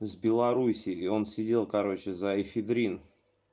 с белорусии и он сидел короче за эфедрин